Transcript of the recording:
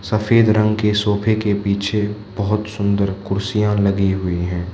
सफेद रंग के सोफे के पीछे बहुत सुंदर कुर्सीयां लगी हुई है।